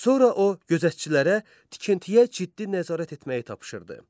Sonra o gözətçilərə tikintiyə ciddi nəzarət etməyi tapşırdı.